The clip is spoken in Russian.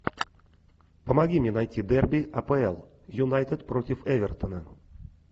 помоги мне найти дерби апл юнайтед против эвертона